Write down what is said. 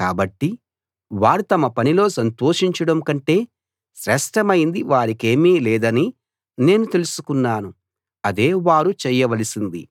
కాబట్టి వారు తమ పనిలో సంతోషించడం కంటే శ్రేష్టమైంది వారికేమీ లేదని నేను తెలుసుకున్నాను అదే వారు చేయవలసింది